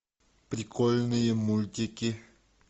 прикольные мультики